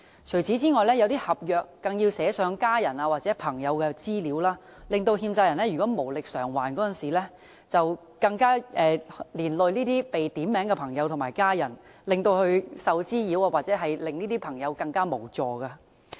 除此之外，一些合約更要寫上家人或朋友的資料，欠債人無力償還時，連累這些被點名的朋友和家人受到滋擾，使他們十分無助。